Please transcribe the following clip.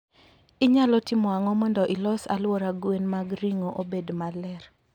Inyalo timo ang'o mondo ilos alwora gwen mag ringo obed maler?